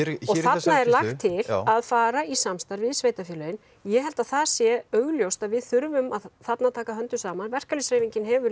þarna er lagt til að fara í samstarf við sveitarfélögin ég held að það sé augljóst að við þurfum þarna að taka höndum saman verkalýðshreyfingin hefur